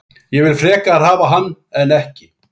Ég vil frekar hafa hann en ekki.